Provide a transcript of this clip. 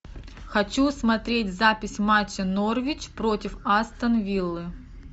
хочу смотреть запись матча норвич против астон виллы